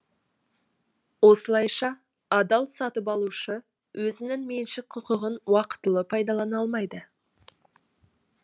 осылайша адал сатып алушы өзінің меншік құқығын уақытылы пайдалана алмайды